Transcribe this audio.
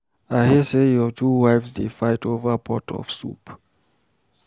I hear say your two wives dey fight over pot of soup.